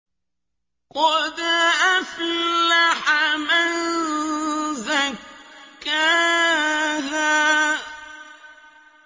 قَدْ أَفْلَحَ مَن زَكَّاهَا